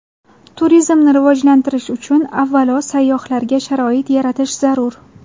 Turizmni rivojlantirish uchun avvalo sayyohlarga sharoit yaratish zarur.